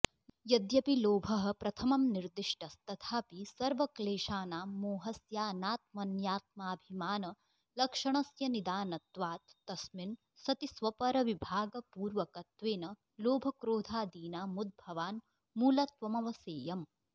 यद्यपि लोभः प्रथमं निर्दिष्टस्तथाऽपि सर्वक्लेशानां मोहस्याऽनात्मन्यात्माभिमानलक्षणस्य निदानत्वात् तस्मिन् सति स्वपरविभागपूर्वकत्वेन लोभक्रोधादीनामुद्भवान्मूलत्वमवसेयम्